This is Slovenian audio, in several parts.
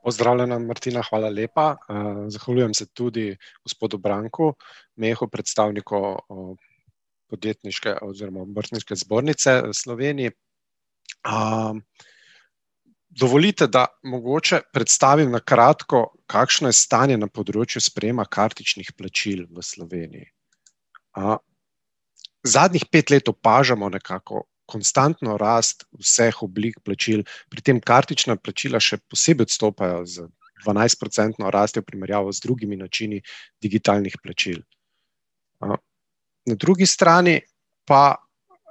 Pozdravljena, Martina, hvala lepa, zahvaljujem se tudi gospodu Branku Mehu, predstavniku, podjetniške oziroma obrtniške zbornice v Sloveniji, dovolite, da mogoče predstavim na kratko, kakšno je stanje na področju sprejema kartičnih plačil v Sloveniji. zadnjih pet let opažamo nekako konstantno rast vseh oblik plačil, pri tem kartična plačila še posebej odstopajo z dvanajstprocentno rastjo v primerjavo z drugimi načini digitalnih plačil. na drugi strani pa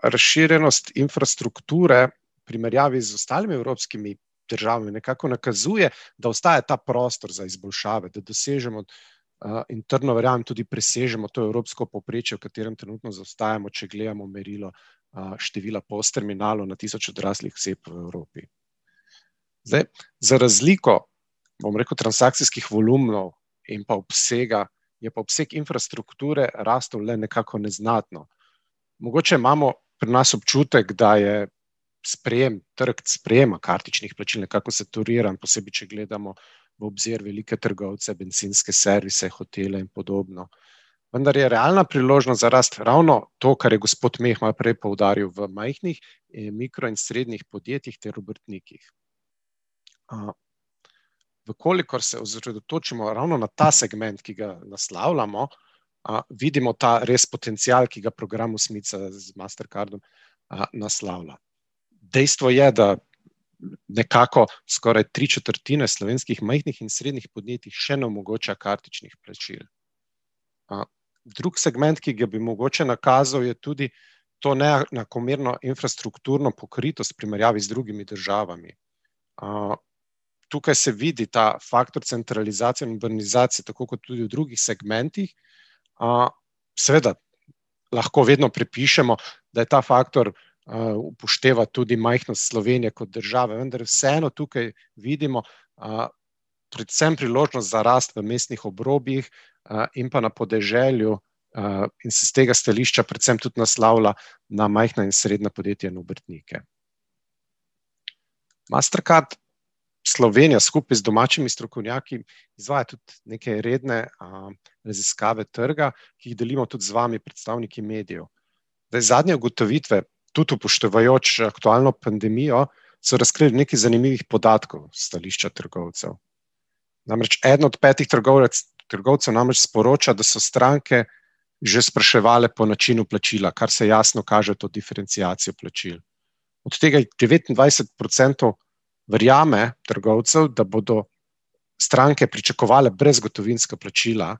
razširjenost infrastrukture v primerjavi z ostalimi evropskimi državami nekako nakazuje, da ostaja ta prostor za izboljšave, da dosežemo, in trdno verjamem, tudi presežemo to evropsko povprečje, v katerem trenutno zaostajamo, če gledamo merilo, števila POS-terminalov na tisoč odraslih oseb v Evropi. Zdaj, za razliko, bom rekel, transakcijskih volumnov in pa obsega je pa obseg infrastrukture rastel le nekako neznatno. Mogoče imamo pri nas občutek, da je sprejem, trg sprejema kartičnih plačil nekako sektoriran, posebej če gledamo v obzir velike trgovce, bencinske servise, hotele in podobno. Vendar je realna priložnost za rast ravno to, kar je gospod Meh malo prej poudaril, v majhnih in mikro- in srednjih podjetjih ter obrtnikih. v kolikor se osredotočimo ravno na ta segment, ki ga naslavljamo, vidimo ta res potencial, ki ga program Osmica z Mastercardom, naslavlja. Dejstvo je, da nekako skoraj tri četrtine slovenskih majhnih in srednjih podjetij še ne omogoča kartičnih plačil. drug segment, ki ga bi mogoče nakazal, je tudi to neenakomerno infrastrukturno pokritost v primerjavi z drugimi državami. tukaj se vidi ta faktor centralizacije in urbanizacije, tako kot tudi v drugih segmentih, seveda lahko vedno pripišemo, da je ta faktor, upošteval tudi majhno Slovenijo kot državo, vendar vseeno tukaj vidimo, predvsem priložnost za rast v mestnih obrobjih, in pa na podeželju, in s tega stališča predvsem tudi naslavlja na majhna in srednja podjetja in obrtnike. Mastercard Slovenija skupaj z domačimi strokovnjaki izvaja tudi neke redne, raziskave trga, ki jih delimo tudi z vami, predstavniki medijev. Zdaj zadnje ugotovitve, tudi upoštevajoč aktualno pandemijo, so razkrile nekaj zanimivih podatkov s stališča trgovcev. Namreč eden od petih trgovec, trgovcev namreč sporoča, da so stranke že spraševale po načinu plačila, kar se jasno kaže to diferenciacijo plačil. Od tega jih devetindvajset procentov verjame, trgovcev, da bodo stranke pričakovale brezgotovinska plačila,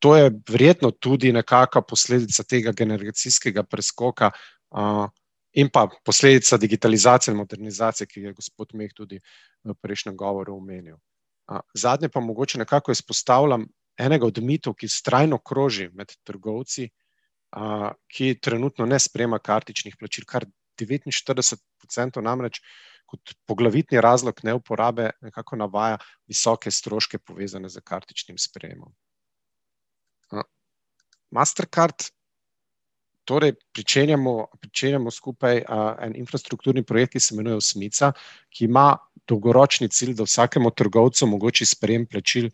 to je verjetno tudi nekaka posledica tega generacijskega preskoka, in pa posledica digitalizacije in modernizacije, ki ga je gospod Meh tudi v prejšnjem govoru omenil. zadnje pa mogoče nekako izpostavljam enega od mitov, ki vztrajno kroži med trgovci, ki trenutno ne sprejema kartičnih plačil, kar devetinštirideset procentov namreč kot poglavitni razlog neuporabe nekako navaja visoke stroške, povezane s kartičnim sprejemom. Mastercard torej pričenjamo, pričenjamo skupaj, en infrastrukturni projekt, ki se imenuje Osmica, ki ima dolgoročni cilj, da vsakemu trgovcu omogoči sprejem plačil,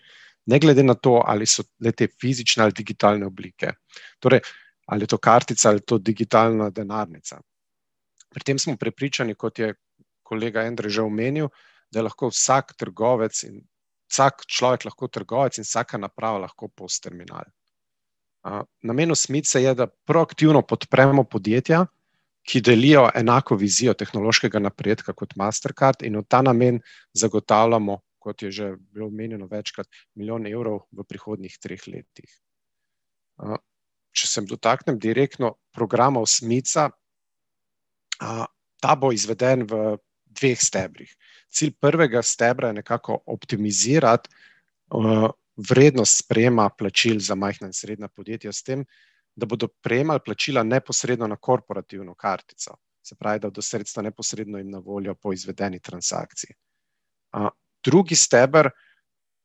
ne glede na to, ali so le-te fizične ali digitalne oblike. Torej, ali je to kartica ali to digitalna denarnica. Pri tem smo prepričani, kot je kolega Endre že omenil, da je lahko vsak trgovec, vsak človek lahko trgovec in vsaka naprava lahko POS-terminal. namen Osmice je, da proaktivno podpremo podjetja, ki delijo enako vizijo tehnološkega napredka kot Mastercard, in v ta namen zagotavljamo, kot je že bilo omenjeno večkrat, milijon evrov v prihodnjih treh letih. če se dotaknem direktno programa Osmica, ta bo izveden v dveh stebrih. Cilj prvega stebra je nekako optimizirati, vrednost sprejema plačil za majhna in srednja podjetja, s tem da bodo prejemali plačila neposredno na korporativno kartico. Se pravi, da bodo sredstva neposredno jim na voljo po izvedeni transakciji. drugi steber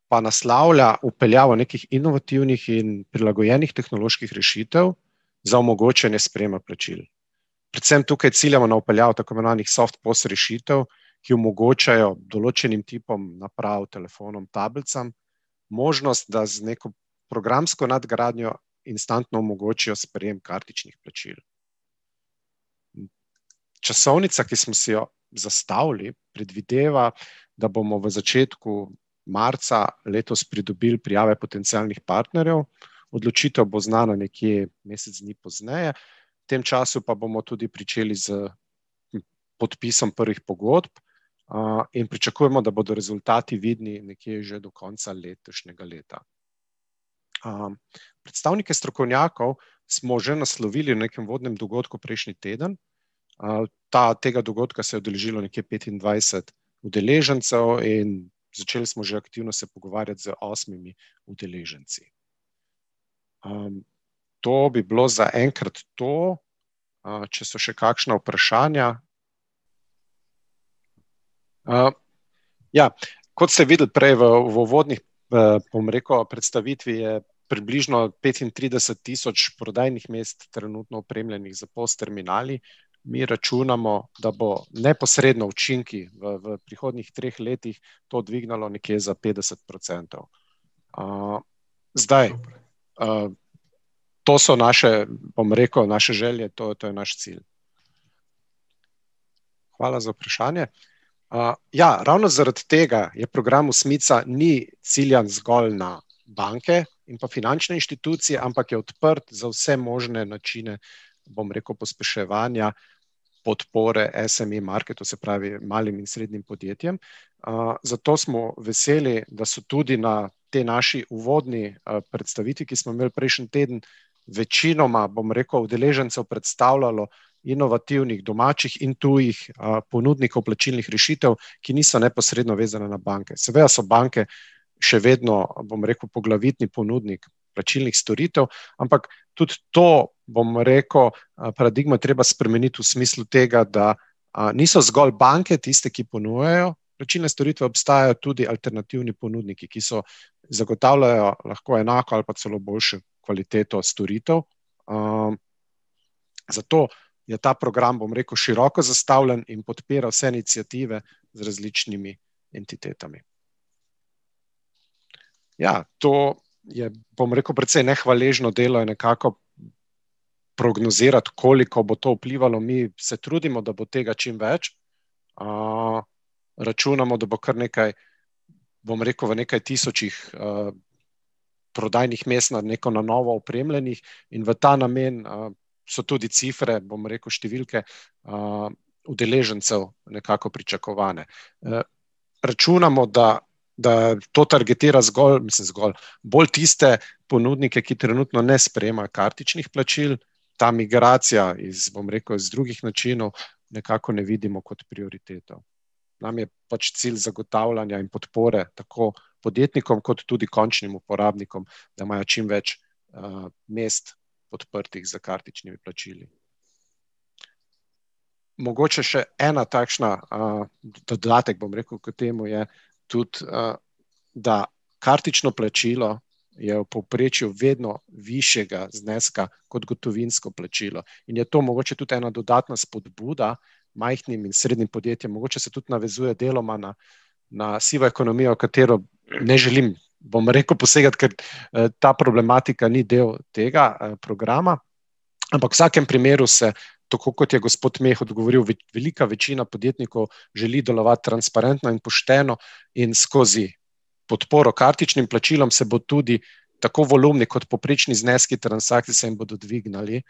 pa naslavlja vpeljavo nekih inovativnih in prilagojenih tehnoloških rešitev za omogočanje sprejema plačil. Predvsem tukaj ciljamo na vpeljavo tako imenovanih soft POS-rešitev, ki omogočajo določenim tipom naprav, telefonom, tablicam, možnost, da z neko programsko nadgradnjo instantno omogočijo sprejem kartičnih plačil. Časovnica, ki smo si jo zastavili, predvideva, da bomo v začetku marca letos pridobili prijave potencialnih partnerjev, odločitev bo znana nekje mesec dni pozneje, v tem času pa bomo tudi pričeli s, podpisom prvih pogodb, in pričakujemo, da bodo rezultati vidni nekje že do konca letošnjega leta. predstavnike strokovnjakov smo že naslovili v nekem uvodnem dogodku prejšnji teden, ta, tega dogodka se je udeležilo nekje petindvajset udeležencev in začeli smo se že aktivno pogovarjati z osmimi udeleženci. to bi bilo zaenkrat to, če so še kakšna vprašanja ... ja, kot se je videlo prej v, v uvodni, bom rekel, predstavitvi, približno petintrideset tisoč prodajnih mest, trenutno opremljenih s POS-terminali, mi računamo, da bo neposredno učinki v, v prihodnjih treh letih to dvignilo nekje za petdeset procentov. zdaj, to so naše, bom rekel, naše želje, to, to je naš cilj. Hvala za vprašanje. ja, ravno zaradi tega je program Osmica, ni ciljan zgolj na banke in pa finančne inštitucije, ampak je odprt za vse možne načine, bom rekel, pospeševanja, podpore, SME-market, to se pravi, malim in srednjim podjetjem, zato smo veseli, da so tudi na tej naši uvodni, predstavitvi, ki smo imeli prejšnji teden, večinoma, bom rekel, udeležencev predstavljalo inovativnih, domačih in tujih, ponudnikov plačilnih rešitev, ki niso neposredno vezane na banke. Seveda so banke še vedno, bom rekel, poglavitni ponudnik plačilnih storitev, ampak tudi to, bom rekel, paradigmo je treba spremeniti v smislu tega, da niso zgolj banke tiste, ki ponujajo plačilne storitve, obstajajo tudi alternativni ponudniki, ki so, zagotavljajo lahko enako ali pa celo boljšo kvaliteto storitev. zato je ta program, bom rekel, široko zastavljen in podpira vse iniciative z različnimi entitetami. Ja, to je, bom rekel, precej nehvaležno delo in nekako prognozirati, koliko bo to vplivalo ... Mi se trudimo da, bo tega čim več računamo, da bo kar nekaj, bom rekel, v nekaj tisočih, prodajnih mest na, neko na novo opremljenih, in v ta namen, so tudi cifre, bom rekel, številke udeležencev nekako pričakovane. računamo, da, da to targetira zgolj, mislim, zgolj, bolj tiste ponudnike, ki trenutno ne sprejemajo kartičnih plačil, ta migracija iz, bom rekel, iz drugih načinov nekako ne vidimo kot prioriteto. Nam je pač cilj zagotavljanja in podpore tako podjetnikom kot tudi končnim uporabnikom, da imajo čimveč, mest odprtih za kartičnimi plačili. Mogoče še ena takšna, dodatek, bom rekel, k temu je tudi, da kartično plačilo je v povprečju vedno višjega zneska kot gotovinsko plačilo. In je to mogoče tudi ena dodatna spodbuda majhnim in srednjim podjetjem, mogoče se tudi navezuje deloma na, na sivo ekonomijo, katero ne želim, bom rekel, posegati, ker, ta problematika ni del tega, programa. Ampak v vsakem primeru se, tako kot je gospod Meh odgovoril, velika večina podjetnikov želi delovati transparentno in pošteno in skozi podporo kartičnim plačilom se bo tudi tako volumni kot povprečni zneski transakcije se jim bodo dvignili,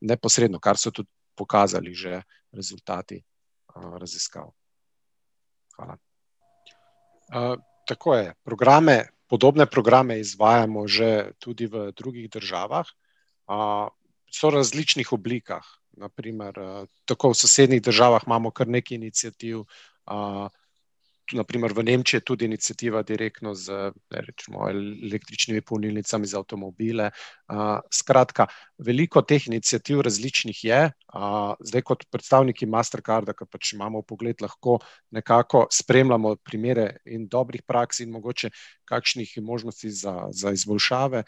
neposredno, kar so tudi pokazali že rezultati, raziskav. Hvala. tako je, programe, podobne programe izvajamo že tudi v drugih državah, so v različnih oblikah. Na primer, tako v sosednjih državah imamo kar nekaj iniciativ, tudi na primer v Nemčiji je tudi iniciativa direktno z električnimi polnilnicami za avtomobile, skratka, veliko teh iniciativ različnih je, zdaj kot predstavniki Mastercarda, ker pač imamo vpogled lahko, nekako spremljamo primere in dobrih praks in mogoče kakšnih možnosti za, za izboljšave,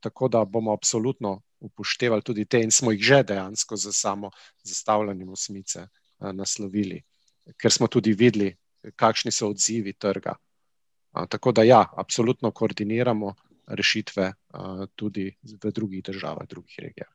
tako da bomo absolutno upoštevali tudi te in smo jih že dejansko s samo zastavljanjem Osmice, naslovili. Ker smo tudi videli, kakšni so odzivi trga. tako da ja, absolutno koordiniramo rešitve, tudi v drugih državah, drugih regijah.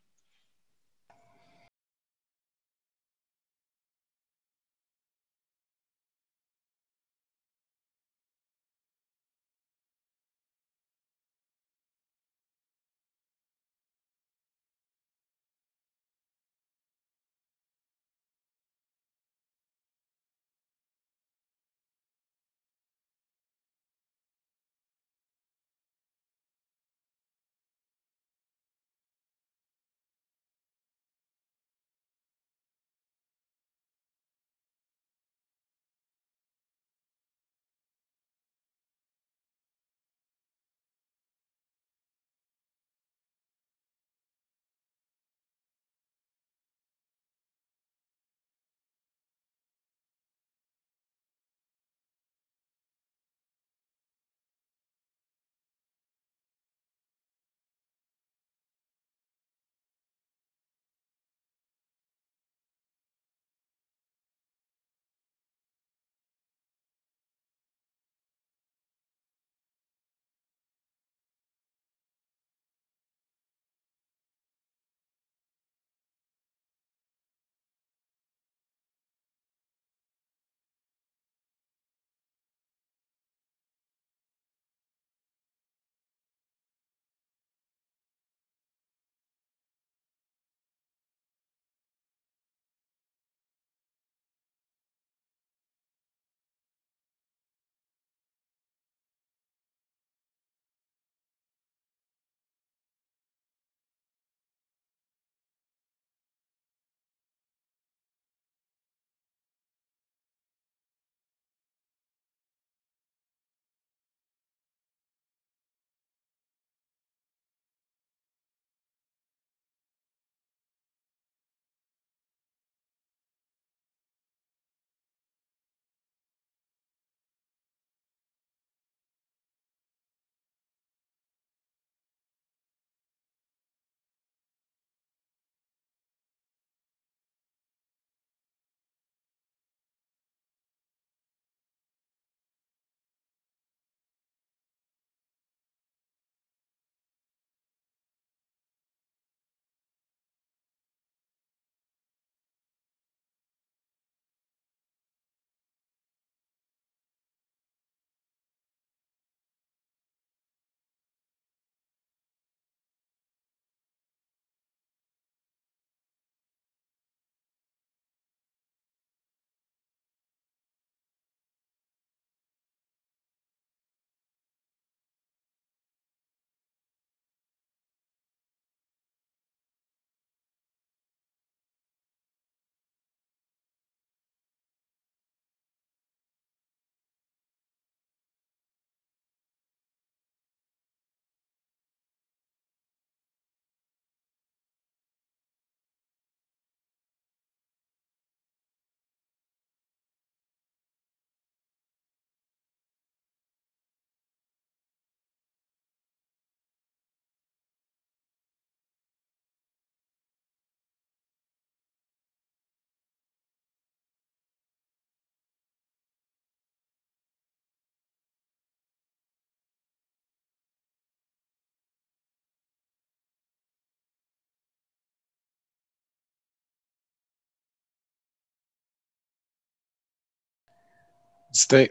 Zdaj,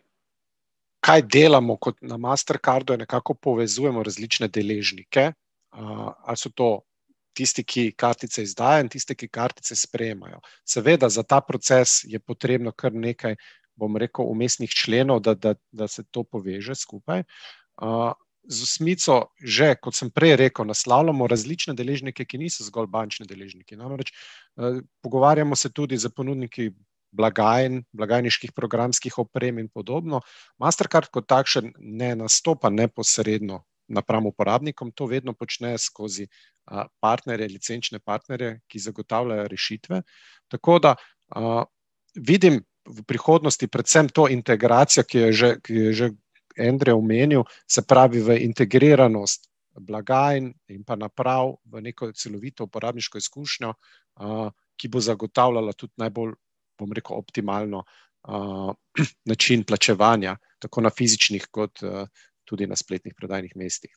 kaj delamo kot na Mastercardu, je, nekako povezujemo različne deležnike. a so to tisti, ki kartice izdajajo, in tiste, ki kartice sprejemajo. Seveda za ta proces je potrebno kar nekaj, bom rekel, vmesnih členov, da, da, da se to poveže skupaj, z Osmico že, kot sem prej rekel, naslavljamo različne deležnike, ki niso zgolj bančni deležniki. Namreč, pogovarjamo se tudi s ponudniki blagajn, blagajniških programskih oprem in podobno. Mastercard kot takšen ne nastopa neposredno napram uporabnikom, to vedno počnejo skozi, partnerje, licenčne partnerje, ki zagotavljajo rešitve. Tako da, vidim, v prihodnosti predvsem to integracijo, ki jo je že, ki jo je že Endre omenil, se pravi v integriranost blagajn in pa naprav v neko celovito uporabniško izkušnjo. ki bo zagotavljala tudi najbolj, bom rekel, optimalno, način plačevanja tako na fizičnih kot, tudi na spletnih prodajnih mestih.